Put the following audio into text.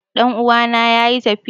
Ɗan'uwana yayi tafiya